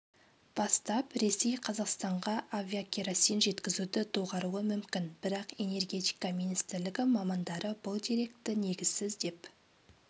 бастап ресей қазақстанға авиакеросин жеткізуді доғаруы мүмкін бірақ энергетика министрлігі мамандары бұл деректі негізсіз деп